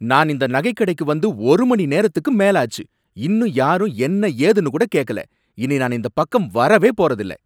நான் இந்த நகைக் கடைக்கு வந்து ஒரு மணிநேரத்துக்கு மேல ஆச்சு, இன்னும் யாரும் என்ன ஏதுனு கூட கேக்கல. இனி நான் இந்தப் பக்கம் வரவே போறதில்ல.